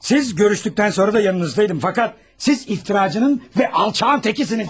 Siz görüşdükdən sonra da yanınızdaydım, fəqət siz iftiraçının və alçağın təkisisiniz.